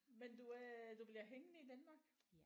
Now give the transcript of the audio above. Men du er du bliver hængende i Danmark?